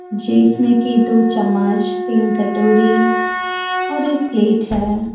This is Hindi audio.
जिसमें कि दो चम्‍मच तीन कटोरी और एक प्‍लेट है।